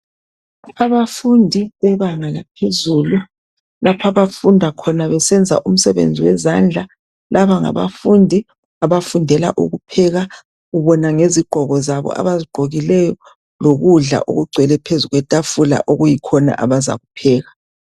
Abafundi bebanga laphezulu lapha abafunda khona besenza imisebenzi yezandla laba ngabafundi abafundela ukupheka ubona ngezigqoko zabo abazigqokileyo lokudla okugcwele phezu kwetafula okuyikhona abazakupheka.